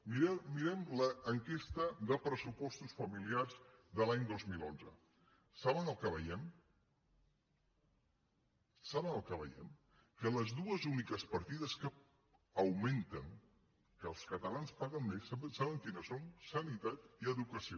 mirem l’enquesta de pressupostos familiars de l’any dos mil onze saben el que veiem saben el que veiem que les dues úniques partides que augmenten que els catalans paguen més saben quines són sanitat i educació